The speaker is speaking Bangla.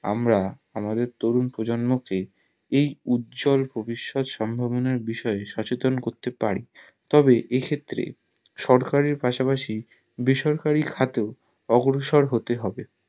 আমরা আমাদের তরুণ প্রজোযনম কে এই উজ্জ্বল ভবিষ্যৎ সম্ভাবনা বিষয় সচেতন করতে পারি তবে এক্ষেত্রে সরকারের পাশাপাশি বেসরকারি খাতেও অগ্রসর হতে হবে